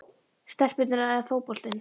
stelpurnar eða fótboltinn?